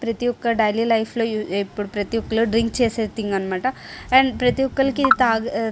ప్రతి ఒక్కరి daily life లో యూ ఇప్పుడు ప్రతి ఒక్కరు డ్రింక్ చేసిది అనమాట. అండ్ ప్రతి ఒక్కలకి ఇది --